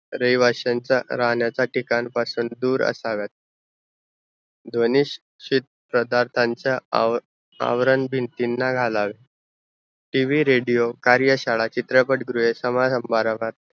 रहिवाश्यांचा राहण्याचा ठिकाण पासून दुर असाव्यात ध्वनी क्षे क्षेत्र तांच्या आवरण भिंतीना घालावे TV, radio कार्यशाळा चित्रपट गृहे सामाराम्भारावात